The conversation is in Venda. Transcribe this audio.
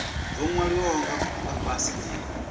zwo nwaliwaho nga fhasi ndi